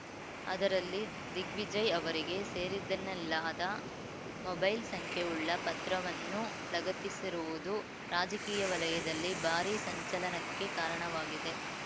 ಅದರಲ್ಲಿ ದಿಗ್ವಿಜಯ್‌ ಅವರಿಗೆ ಸೇರಿದ್ದೆನ್ನಲಾದ ಮೊಬೈಲ್‌ ಸಂಖ್ಯೆವುಳ್ಳ ಪತ್ರವನ್ನೂ ಲಗತ್ತಿಸಿರುವುದು ರಾಜಕೀಯ ವಲಯದಲ್ಲಿ ಭಾರಿ ಸಂಚಲನಕ್ಕೆ ಕಾರಣವಾಗಿದೆ